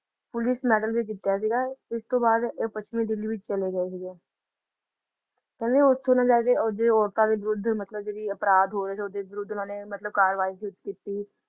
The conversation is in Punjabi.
ਪੁਲਿਸ ਮੈਡਲ ਵੀ ਜਿੱਤਿਆ ਸੀਗਾ ਇਸਤੋਂ ਬਾਅਦ ਇਹ ਪੱਛਮੀ ਦਿੱਲੀ ਵਿੱਚ ਚਲੇ ਗਏ ਸੀਗੇ ਕਹਿੰਦੇ ਓਥੋਂ ਤੋਂ ਲੈਕੇ ਉਧਰ ਦੀਆਂ ਔਰਤਾਂ ਦੇ ਵਿਰੁੱਧ ਮਤਲਬ ਜਿਹੜੇ ਅਪਰਾਧ ਹੋ ਰਹੇ ਓਹਦੇ ਵਿਰੁੱਧ ਉਹਨਾਂ ਨੇ ਮਤਲਬ ਕਾਰਵਾਈ ਸ਼ੁਰੂ ਕੀਤੀ